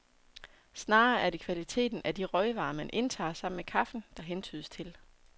Snarere er det kvaliteten af de røgvarer, man indtager sammen med kaffen, der hentydes til.